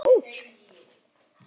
Góð bók.